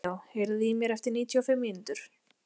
Leo, heyrðu í mér eftir níutíu og fimm mínútur.